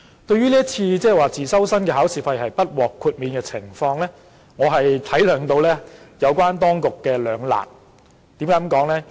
對於自修生不獲代繳考試費，我體諒到有關當局面對的兩難處境，為何我這樣說呢？